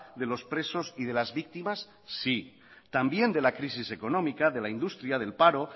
de los presos y de las víctimas sí también de la crisis económica de la industria del paro